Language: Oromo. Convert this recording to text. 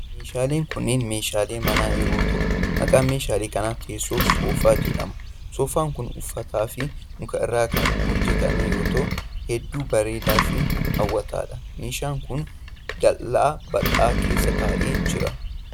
Meeshaaleen kunneen meeshaalee manaa yoo ta'u, maqaan meeshaalee kanaa teessoo soofaa jedhama. Soofaan kun uffata fi muka irraa kan hojjatame yoo ta'u, hedduu bareedaa fi haw'ataa dha. Meeshaan kun ,dallaa bal'aa keessa taa'ee jira.